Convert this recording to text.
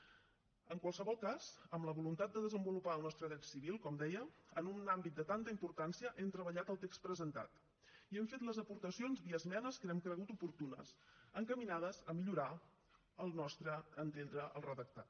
en qualsevol cas amb la voluntat de desenvolupar el nostre dret civil com deia en un àmbit de tanta importància hem treballat el text presentat i hem fet les aportacions via esmenes que hem cregut oportunes encaminades a millorar al nostre entendre el redactat